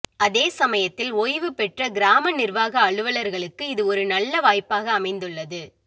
அதே சமயத்தில் ஓய்வு பெற்ற கிராம நிர்வாக அலுவலர்களுக்கு இது ஒரு நல்ல வாய்ப்பாக அமைந்துள்ளது